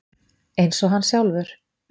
Eins og hann sjálfur.